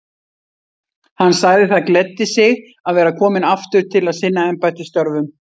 Hann sagði það gleddi sig að vera kominn aftur til að sinna embættisstörfum.